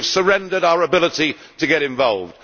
we have surrendered our ability to get involved.